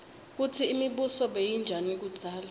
kutsi imibuso beyinjani kudzala